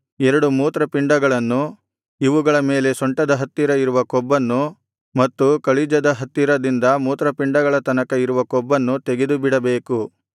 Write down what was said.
ಎರಡು ಮೂತ್ರಪಿಂಡಗಳನ್ನು ಇವುಗಳ ಮೇಲೆ ಸೊಂಟದ ಹತ್ತಿರ ಇರುವ ಕೊಬ್ಬನ್ನು ಮತ್ತು ಕಳಿಜದ ಹತ್ತಿರದಿಂದ ಮೂತ್ರಪಿಂಡಗಳ ತನಕ ಇರುವ ಕೊಬ್ಬನ್ನು ತೆಗೆದುಬಿಡಬೇಕು